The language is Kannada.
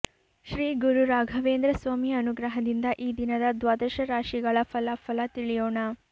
ಶ್ರೀ ಗುರು ರಾಘವೇಂದ್ರ ಸ್ವಾಮಿ ಅನುಗ್ರಹದಿಂದ ಈ ದಿನದ ದ್ವಾದಶ ರಾಶಿಗಳ ಫಲಾಫಲ ತಿಳಿಯೋಣ